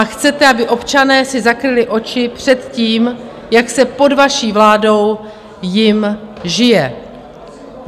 A chcete, aby občané si zakryli oči před tím, jak se pod vaší vládou jim žije.